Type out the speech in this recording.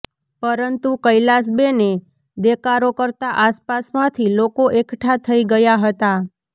પરંતુ કૈલાસબેને દેકારો કરતા આસપાસમાંથી લોકો એકઠા થઈ ગયા હતા